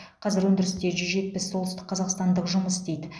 қазір өндірісте жүз жетпіс солтүстік қазақстандық жұмыс істейді